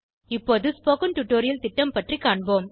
இப்போது spoken tutorial திட்டம் பற்றி காண்போம்